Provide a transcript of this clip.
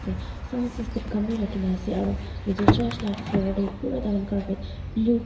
ete sound system khan bi rakhi na ase aru etu church la floor te pura taikhan carpet blue .